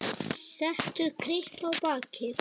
Set kryppu á bakið.